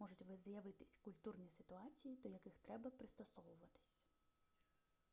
можуть з'явитись культурні ситуації до яких треба пристосуватись